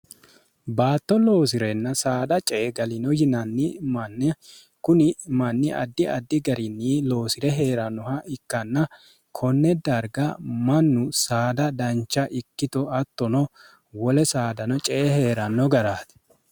baatto loosi'renna saada ce e galino yinanni manni kuni manni addi addi garinni loosi're hee'rannoha ikkanna konne darga mannu saada dancha ikkito attono wole saadano cee hee'ranno garaate